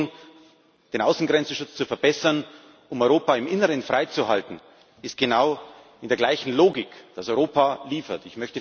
Die Überlegung, den Schutz der Außengrenzen zu verbessern, um Europa im Inneren freizuhalten, ist genau in der gleichen Logik, dass Europa liefert.